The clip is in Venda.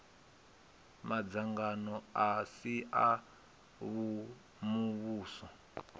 madzangano a si a muvhuso